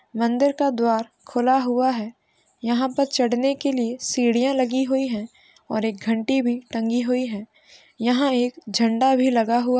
मंदिर का द्वार खुला हुआ है यहाँ पर चढ़ने के लिए सीढ़ियाँ लगी हुई हैं और एक घंटी भी टंगी हुई है | यहाँ एक झंडा भी लगा हुआ --